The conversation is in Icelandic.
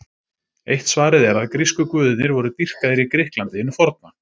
Eitt svarið er að grísku guðirnir voru dýrkaðir í Grikklandi hinu forna.